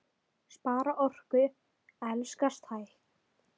Spara orku. elskast hægt!